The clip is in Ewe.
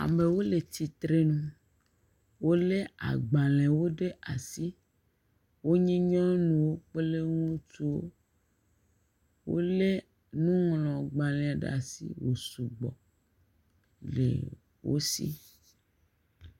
Amewo le tsitre nu wolé agbalẽwo ɖe asi, wonye nyɔnuwo kple ŋutsuwo, wolé nuŋlɔgbalẽ ɖe asi wosugbɔ le wo si.